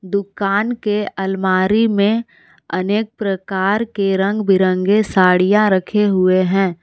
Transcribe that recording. दुकान के अलमारी में अनेक प्रकार के रंग बिरंगे साड़ियां रखे हुए हैं।